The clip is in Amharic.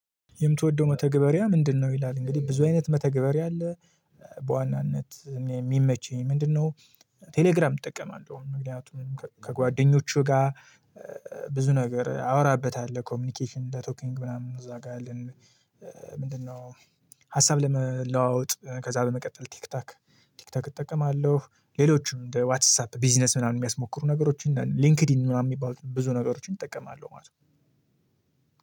የምትወደው መተግበሪያ ምንድነው? ይላል እንግዲህ ብዙ አይነት መተግበሪያ አለ። በዋናነት የሚመቸኝ ምንድነው? ቴሌግራም እጠቀማለሁ ምክንያቱም ከጓደኞቹ ጋር ብዙ ነገር አወራበታለሁ ኮሚኒኬሽን ለቶኪንግ ምናምን እዛ ጋር አለን። ምንድነው? ሀሳብ ለመለዋወጥ ከዛ በመቀጠል ቲክቶክ ቲክቶክ እጠቀማለሁ ሌሎችም እንደ ዋትስአፕ ቢዝነስ ምናምን የሚያስሞክሩ ነገሮችን ሊንክዲን ምናምን የሚባሉ ብዙ ነገሮችን እጠቀማለሁ ማለት ነው።